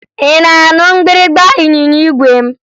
Ị na-anụ mgbịrịmgba ịnyịnya igwe m?